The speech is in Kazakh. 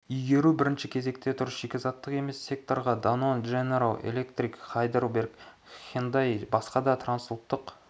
игеру бірінші кезекте тұр шикізаттық емес секторға данон дженерал электрик хайдельберг хендай басқа да трансұлттық